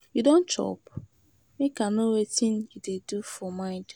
You don chop? Make I know wetin you dey do for mind.